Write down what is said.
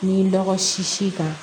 Ni lɔgɔ sisi kan